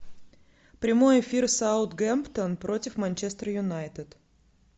прямой эфир саутгемптон против манчестер юнайтед